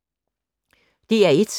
DR1